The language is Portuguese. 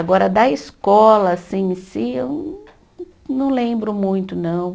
Agora da escola assim em si eu não lembro muito, não.